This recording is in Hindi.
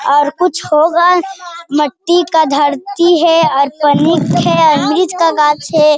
और कुछ होगा मट्टी का धरती है और पणिक है अमृत का गाछ है।